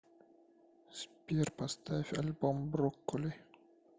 сбер поставь альбом брокколи